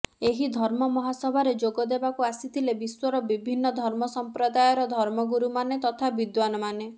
ଏହି ଧର୍ମ ମହାସଭାରେ ଯୋଗ ଦେବାକୁ ଆସିଥିଲେ ବିଶ୍ବର ବିଭିନ୍ନ ଧର୍ମ ସଂପ୍ରଦାୟର ଧର୍ମଗୁରୁମାନେ ତଥା ବିଦ୍ବାନମାନେ